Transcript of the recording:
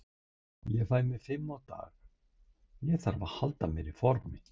Ég fæ mér fimm á dag, ég þarf að halda mér í formi.